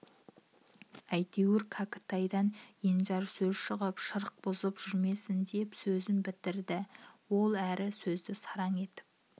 әйтеуір кәкітайдан енжар сөз шығып шырық бұзып жүрмесін деп сөзін бітірді ол әрі сөзді сараң етіп